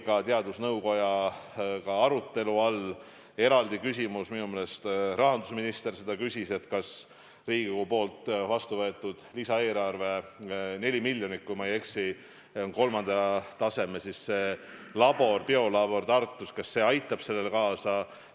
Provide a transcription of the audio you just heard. Ka teadusnõukojaga oli arutelu all eraldi küsimus, minu meelest rahandusminister seda küsis, kas Riigikogus vastu võetud lisaeelarve 4 miljonit, kui ma ei eksi, kolmanda taseme biolaborile Tartus aitab kaasa.